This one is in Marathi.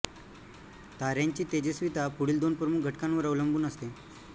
ताऱ्यांची तेजस्विता पुढील दोन प्रमुख घटकांवर अवलंबून असते